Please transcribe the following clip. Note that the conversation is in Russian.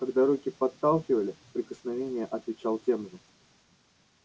когда руки подталкивали прикосновение отвечал тем же